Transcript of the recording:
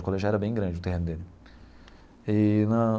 O colégio já era bem grande, o terreno dele eee na.